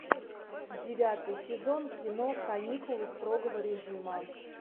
девятый сезон кино каникулы строгого режима